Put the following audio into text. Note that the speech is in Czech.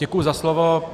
Děkuji za slovo.